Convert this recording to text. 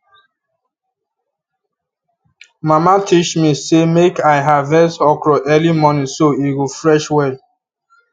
mama teach me say make i harvest okro early morning so e go fresh well